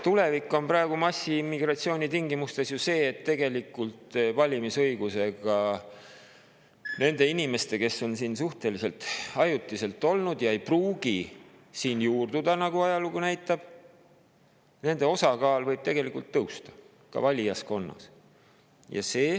Tulevik on praeguse massiimmigratsiooni tingimustes ju see, et nende inimeste osakaal, kes on siin suhteliselt ajutiselt olnud ja ei pruugi juurduda, nagu ajalugu näitab, võib tõusta ka valijaskonnas.